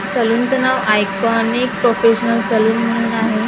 सलूनचं नाव iconic professional salon म्हणून आहे .